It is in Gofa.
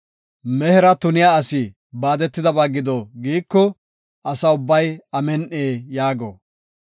“Mehera tuniya asi baadetidaysa gido” giiko, Asa ubbay, “Amin7i” yaago.